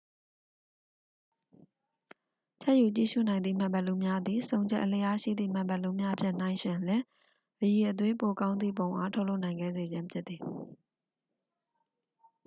ချဲ့ယူကြည့်ရူနိုင်သည့် မှန်ဘီလူးများသည် ဆုံချက်အလျားရှိသည့် မှန်ဘီလူးများဖြင့် နှိုင်းယှဉ်လျှင် အရည်အသွေးပိုကောင်းသည့်ပုံအား ထုတ်လုပ်နိုင်စေခဲ့ခြင်းဖြစ်သည်